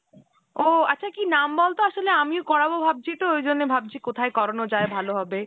ও আচ্ছা কি নাম বলতো আসলে আমিও করাবো ভাবছি তো ঐজন্যে ভাবছি কোথায় করানো যায় ভালো হবে ?